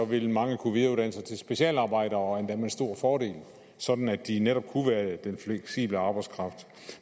ville mange kunne videreuddanne sig til specialarbejder og endda med stor fordel sådan at de netop kunne være den fleksible arbejdskraft